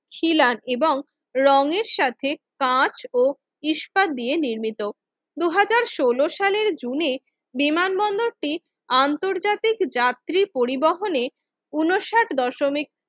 খিলান এবং রঙের সাথে কাঁচা ও ইস্পাত দিয়ে নির্মিত দুই হাজার ষোল সালের জুনে বিমানবন্দর টি আন্তর্জাতিক যাত্রী পরিবহনে উনষাট দশমিক